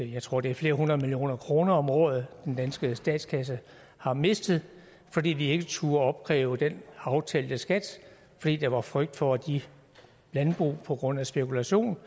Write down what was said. jeg tror det er flere hundrede millioner kroner om året som den danske statskasse har mistet fordi vi ikke turde opkræve den aftalte skat fordi der var frygt for at de landbrug på grund af spekulation